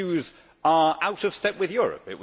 His views are out of step with Europe.